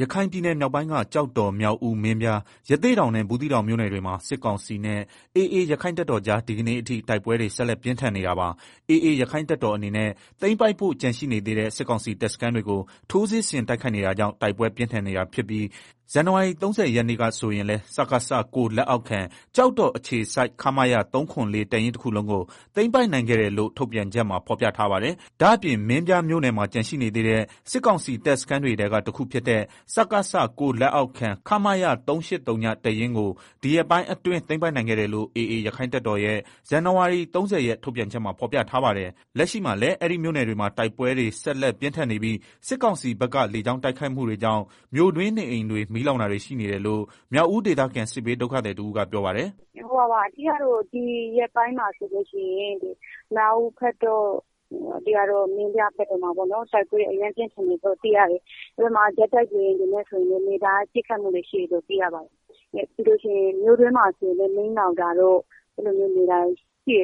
ရခိုင်ပြည်နယ်မြောက်ပိုင်းက ကျောက်တော် မြောက်ဦး မင်းပြား ရသေ့တောင်နဲ့ ဘူးသီး တောင်မြို့နယ်တွေမှာ စစ်ကောင်စီနဲ့ AA ရက္ခိုင့်တပ်တော်ကြား ဒီကနေ့အထိ တိုက်ပွဲတွေ ဆက်လက်ပြင်းထန်နေတာပါ။ AAရက္ခိုင့်တပ်တော်အနေနဲ့သိမ်းပိုက်ဖို့ ကျန်ရှိနေသေးတဲ့ စစ်ကောင်စီတပ်စခန်းတွေကို ထိုးစစ်ဆင်တိုက်ခိုက်နေတာကြောင့် တိုက်ပွဲပြင်းထန်နေတာဖြစ်ပြီး မနေ့ကဆိုရင်လည်း စကစ လက်အောက်ခံ ကျောက်တော်အခြေစိုက် ခမရ တပ်ရင်းတခုလုံးကို သိမ်းပိုက်နိုင်ခဲ့တယ်လို့ ထုတ်ပြန်ချက်မှာ ဖော်ပြထားပါတယ်။ ဒါ့အပြင် မင်းပြားမြို့နယ် ကျန်ရှိနေသေးတဲ့ စစ်ကောင်စီတပ်စခန်းတွေထဲက တခုဖြစ်တဲ့ စကစ လက်အောက်ခံ ခမရ တပ်ရင်းကိုဒီရက်ပိုင်းအတွင်း သိမ်းပိုက်နိုင်ခဲ့တယ်လို့ AAရက္ခိုင့်တပ်တော်ရဲ့မနေ့က ထုတ်ပြန်ချက်မှာဖော်ပြထားပါတယ်။ လက်ရှိမှာလည်း အဲဒီမြို့နယ်တွေမှာ တိုက်ပွဲ ဆက်လက်ပြင်းထန်နေပြီး စစ်ကောင်စီဘက် လေကြောင်းတိုက်ခိုက်မှုတွေကြောင့် မြို့တွင်းနေအိမ်တွေ မီးလောင်တာတွေရှိနေတယ်လို့ မြောက်ဦးဒေသခံ စစ်ဘေးဒုက္ခသည်တဦးကပြောပါတယ်။ “ ဒီရက်ပိုင်းမှာ ဆိုလို့ရှိရင် မြောက်ဦးတို့ မင်းပြားတို့ဘက်မှာ တိုက်ပွဲ အရမ်းပြင်းထန် နေတယ် လို့သိရတယ်။ ဂျက်တိုက်လေယာဉ်တွေနဲ့ နေ့တိုင်းပစ်ခတ်နေတယ် မြို့တွင်းမှာဆိုရင်လည်း မီးလောင်တာတို့နေ့တိုင်းရှိနေတယ်လို့ ညီ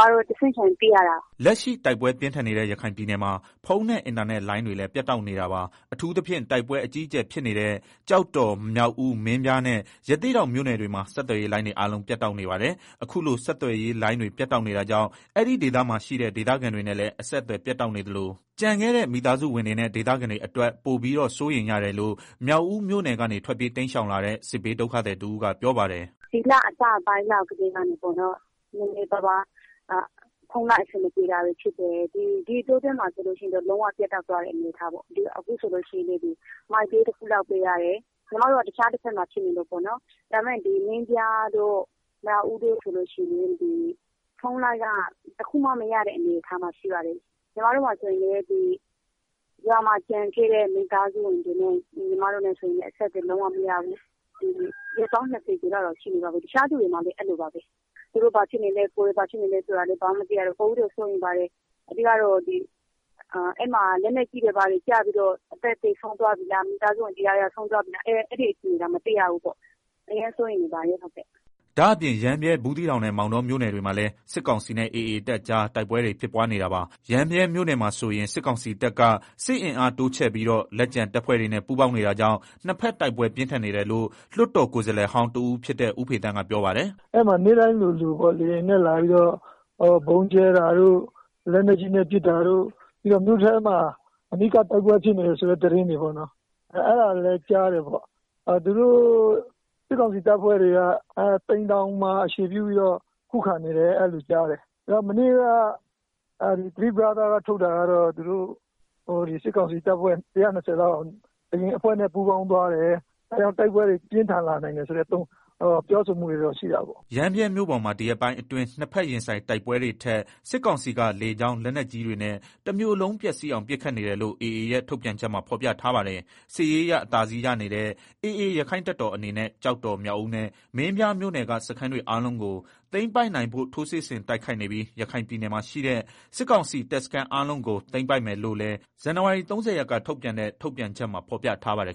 မတို့ တဆင့်ခံသိရတယ်။” လက်ရှိတိုက်ပွဲပြင်းထန်နေတဲ့ရခိုင်ပြည်နယ်မှာ ဖုန်းနဲ့ အင်တာနက်လိုင်းတွေလည်း ပြတ်တောက်နေတာပါ။ အထူးသဖြင့် တိုက်ပွဲ အကြီးအကျယ်ဖြစ်နေတဲ့ ကျောက်တော် မြောက်ဦး မင်းပြားနဲ့ ရသေ့တောင် မြို့နယ်တွေမှာ ဆက်သွယ်ရေးလိုင်းတွေ အားလုံးပြတ်တောက် နေပါတယ်။ အခုလို ဆက်သွယ်ရေးလိုင်းတွေပြတ်တောက်နေတာကြောင့် အဲဒီဒေသမှာရှိနေတဲ့ ဒေသခံတွေ နဲ့လည်း အဆက်အသွယ်ပြတ်တောက်နေသလို ကျန်ခဲဲ့တဲ့ မိသားစုဝင်တွေနဲ့ ဒေသခံတွေ အတွက် ပိုပြီးတော့ စိုးရိမ်ရတယ်လို့ မြောက်ဦးမြို့နယ်ကနေ ထွက်ပြေးတိမ်း ရှောင်လာတဲ့ စစ်ဘေးဒုက္ခသည်တဦးကပြောပါတယ်။ “ ဒီလအစပိုင်းကစပြီးတော့ ဖုန်းလိုင်းအဆင်မပြေတာတွေဖြစ်တယ်၊ ဒီအတောအတွင်းမှာဆိုရင် လုံးဝ ပြတ်တောက်သွားတဲ့ အနေအထားပေါ့ အခုဆိုလို့ရှိရင် အခုဆိုရင် Mytel တခုပဲ ရတယ် အဲဒါတောင် ညီမတို့က တခြားတနေရာမှာမို့လို့ပေါ့နော်၊ မင်းပြားတို့ မြောက်ဦးတို့ဆိုလို့ရှိရင် ဖုန်းလိုင်းက တခုမှ မရတဲ့အနေအထားမှာရှိတယ်၊ ညီမမှာဆိုရင် ရွာမှာကျန်ခဲ့တဲ့ မိသာစုဝင်တွေနဲ့ အဆက်အသွယ် လုံးဝမရဘူး၊ ရက်ပေါင်း ၂ဝလောက်ရှိနေ ပါပြီ တခြားသူတွေမှာလည်း အဲလိုပါပဲ။ သူတို့ဘာဖြစ်နေလဲ ကိုယ်ဘာဖြစ်နေလဲဆိုတာလည်း သူတို့မသိရတော့ ပိုပြီးတော့ စိုးရိမ်ပါတယ်။ အဲမှာ လက်နက်ကြီးတွေ ဘာတွေကျပြီး အသက်သေဆုံးသွားပြီလား မိသားစုဝင် တယောက်ယောက်ဆုံးသွားပြီလား မသိရဘူး အရမ်းစိုးရိမ်မိတယ်။” ဒါ့အပြင် ရမ်းဗြဲ၊ ဘူးသီးတောင်နဲ့ မောင်တောမြို့နယ်တွေမှာလည်း စစ်ကောင်စီနဲ့ AAတပ်ကြား တိုက်ပွဲတွေ ဖြစ်ပွားနေတာပါ။ ရမ်းဗြဲမြို့နယ်မှာဆိုရင် စစ်ကောင်စီတပ်က စစ်အင်းအားတိုး ချဲ့ပြီးတော့ လက်ကျန်တပ်ဖွဲ့တွေနဲ့ ပူးပေါင်းနေတာကြောင့် နှစ်ဖက်တို်က်ပွဲပြင်းထန်တယ်လို့ လွတ်တော်ကိုယ်စားလှယ်ဟောင်းတဦးဖြစ်တဲ့ ဦးဖေသန်းကပြောပါတယ်။ “ အဲမှာနေ့တိုင်းလိုလို လေယာဉ်နဲ့ လာပြီးပစ်တာတို့ ဗုံးကြဲတာတို့ လက်နက်ကြီးနဲ့ ပစ်တာတို့ ပြီးတော့ မြို့ထဲမှာ အနီးကပ်တိုက်ပွဲ ဖြစ်နေတယ်ဆိုတဲ့ သတင်းတွေ၊ အဲဒါတွေ လည်းကြား တယ်၊ စစ်ကောင်စီတပ်ဖွဲ့တွေက သိမ်တောင်မှာ စုပြီးတော့ ခုခံနေတယ်လို့ ကြားတယ်။ မနေ့က မြောက်ပိုင်းသုံးဖွဲ့က ထုတ်တာကတော့ စစ်ကောင်စီတပ်ဖွဲ့ဝင် ၁၂ဝ လောက် အရင် အဖွဲ့နဲ့ ပူးပေါင်းသွားတယ်၊ ဒါကြောင့် တိုက်ပွဲတွေ ပြင်းထန်လာနိုင် တယ်ဆိုတဲ့ ပြောဆိုမှု တွေရှိတယ်။” ရမ်းဗြဲမြို့ပေါ်မှာ ဒီရက်ပိုင်းအတွင်း နှစ်ဖက်ရင်ဆိုင်တိုက်ပွဲတွေထက် စစ်ကောင်စီက လေကြောင်း လက်နက်ကြီးတွေနဲ့ တမြို့လုံးပျက်စီးအောင်ပစ်ခတ်နေတယ်လို့ AA ထုတ်ပြန်ချက်မှာဖော်ပြထားပါတယ်။ စစ်ရေးအရ အသာစီးရနေတဲ့ AAရက္ခိုင့်တပ်တော် အနေနဲ့ ကျောက်တော်၊ မြောက်ဦးနဲ့ မင်းပြားမြို့နယ်က စခန်းတွေအားလုံးကို သိမ်းပိုက်နိုင်ဖို့ ထိုးစစ်ဆင်တိုက်ခိုက်နေပြီး ရခိုင်ပြည်နယ်မှာ ရှိတဲ့ စစ်ကောင်စီတပ်စခန်းအားလုံးကို သိမ်းပိုက်မယ်လို့လည်း မနေ့က ထုတ်ပြန်ချက်မှာဖော်ပြထားပါတယ်